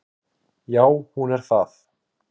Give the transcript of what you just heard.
Já hún er það.